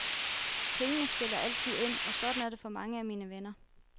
Pengene spiller altid ind, og sådan er det for mange af mine venner.